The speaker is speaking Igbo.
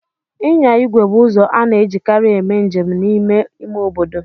Ịnya igwe bụ ụzọ a na-ejikarị eme njem n'ime ime obodo.